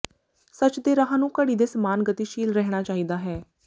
ਸੱਚ ਦੇ ਰਾਹ ਨੂੰ ਘੜੀ ਦੇ ਸਮਾਨ ਗਤੀਸ਼ੀਲ ਰਹਿਣਾ ਚਾਹੀਦਾ ਹੈ